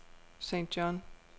St. John